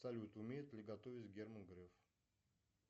салют умеет ли готовить герман греф